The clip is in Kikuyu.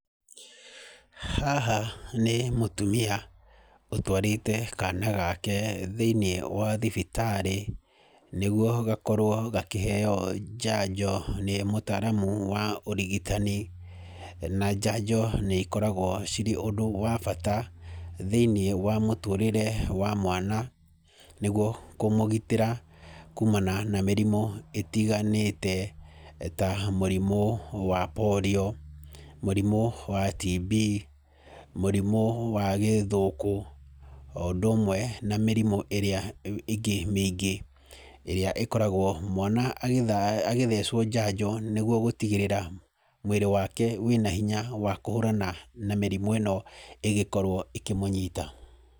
Haha nĩ mũtumia, ũtwarĩte kana gake thĩinĩ wa thibitarĩ, nĩguo gakorwo gakĩheo njanjo nĩ mũtaramu wa ũrigitani, na njanjo nĩ ikoragwo cirĩ ũndũ wa bata, thĩinĩ wa mũtũrĩre wa mwana, nĩguo kũmũgitĩra kũũmana na mĩrimũ ĩtiganĩte ta mũrimũ wa polio, mũrimũ wa tb, mũrimũ wa gĩthũkũ oũndũ ũmwe na mĩrimũ ĩrĩa ĩ ĩngĩ mĩingĩ ĩrĩa ĩkoragwo mwana agĩtha agĩthecwo njanjo nĩguo gũtigĩrĩra mwĩrĩ wake wĩna hinya wa kũhũrana na mĩrimũ ĩno ĩngĩkorwo ĩkĩmũnyita.